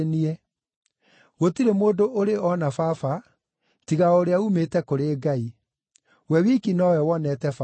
Gũtirĩ mũndũ ũrĩ ona Baba, tiga o ũrĩa uumĩte kũrĩ Ngai; we wiki nowe wonete Baba.